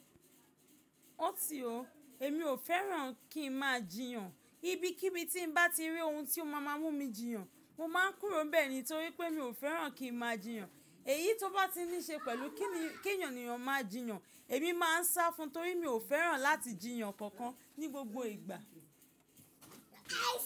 Ó ti o, èmi ò fẹ́ràn kí n máa jiyàn, ibi kí bí tí bá ti rí ohun tí ó máa mú mi jiyàn, mo máa ń kúrò bẹ́ẹ̀ ni torí pé mi ò fẹ́ràn kí n máa jiyàn. Èyí tó bá ti ní ṣe pẹ̀lú kí ènìyàn máa jiyàn, èmi máa ń sá fún un torí mi ò fẹ́ràn láti jiyàn kankan ní gbogbo ìgbà.